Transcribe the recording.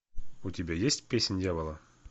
у тебя есть песнь дьявола